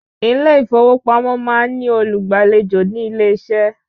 Ilé ìfowópamọ́ máa ń ní olùgbàlejò nílé-iṣẹ́